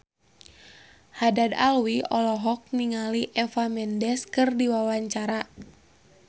Haddad Alwi olohok ningali Eva Mendes keur diwawancara